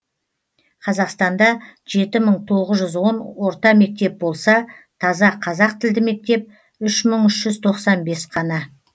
қазақстанда жеті мың тоғыз жүз он орта мектеп болса таза қазақ тілді мектеп үш мың үш жүз тоқсан бес қана